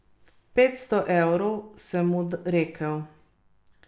Nagrado za študenta igre pa gre v roke Timona Šturbeja in Tamare Avguštin.